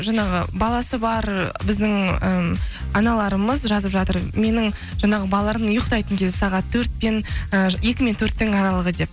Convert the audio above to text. жаңағы баласы бар біздің і аналарымыз жазып жатыр менің жаңағы балалардың ұйықтайтын кезі сағат і екі мен төрттің аралығы деп